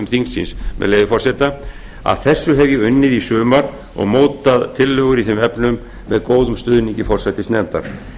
þingsins með leyfi forseta að þessu hef ég unnið í sumar og mótað tillögur í þeim efnum með góðum stuðningi forsætisnefndar